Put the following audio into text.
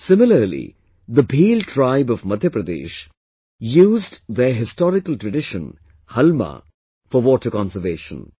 Similarly, the Bhil tribe of Madhya Pradesh used their historical tradition "Halma" for water conservation